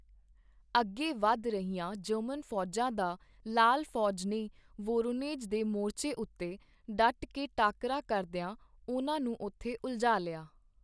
ਅੱਗੇ ਵਧ ਰਹੀਆਂ ਜਰਮਨ ਫ਼ੌਜਾਂ ਦਾ ਲਾਲ ਫ਼ੌਜ ਨੇ ਵੋਰੋਨੇਝ ਦੇ ਮੋਰਚੇ ਉੱਤੇ ਡਟਕੇ ਟਾਕਰਾ ਕਰਦਿਆਂ ਉਨ੍ਹਾਂ ਨੂੰ ਉੱਥੇ ਉਲਝਾ ਲਿਆ।